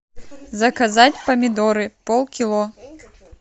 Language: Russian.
заказать помидоры полкило